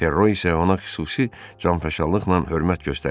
Perro isə ona xüsusi canfəşanlıqla hörmət göstərir.